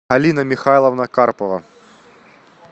алина михайловна карпова